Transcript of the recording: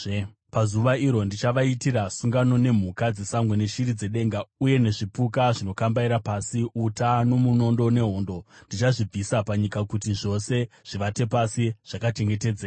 Pazuva iro ndichavaitira sungano nemhuka dzesango neshiri dzedenga uye nezvipuka zvinokambaira pasi. Uta nomunondo nehondo, ndichazvibvisa panyika kuti zvose zvivate pasi zvakachengetedzeka.